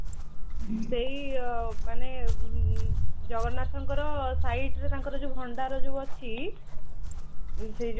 ସେଇ ଅଂ ମାନେ ଉଁ ଜଗନ୍ନାଥଙ୍କର site ରେ ତାଙ୍କର ଯୋଉଁ ଭଣ୍ଡାର ଯୋଉଁ ଅଛି ସେଇ ଯୋଉଁ